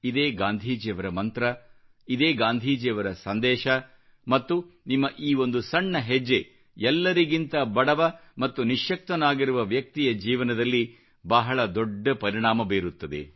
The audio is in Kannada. ಇದೇ ಗಾಂಧೀಜಿಯವರ ಮಂತ್ರ ಇದೇ ಗಾಂಧೀಜಿಯವರ ಸಂದೇಶ ಮತ್ತು ನಿಮ್ಮ ಈ ಒಂದು ಸಣ್ಣ ಹೆಜ್ಜೆ ಎಲ್ಲರಿಗಿಂತ ಬಡವ ಮತ್ತು ನಿಶ್ಯಕ್ತನಾಗಿರುವ ವ್ಯಕ್ತಿಯ ಜೀವನದಲ್ಲಿ ಬಹಳ ದೊಡ್ಡ ಪರಿಣಾಮ ಬೀರುತ್ತದೆ